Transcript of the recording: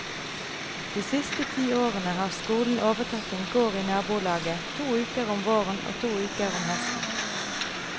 De siste ti årene har skolen overtatt en gård i nabolaget to uker om våren og to uker om høsten.